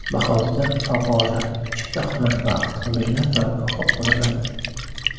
Bahorda favvora, chiptaxona va avtomobillar turargohi quriladi.